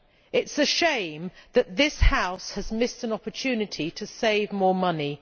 It is a shame that this House has missed an opportunity to save more money.